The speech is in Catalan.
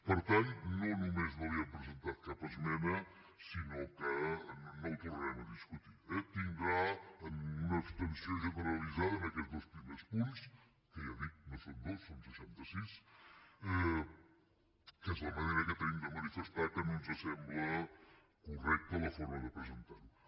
per tant no només no hi hem presentat cap esmena sinó que no ho tornarem a discutir eh tindran una abstenció generalitzada en aquests dos primers punts que ja dic no són dos són seixanta sis que és la manera que tenim de manifestar que no ens sembla correcta la forma de presentar ho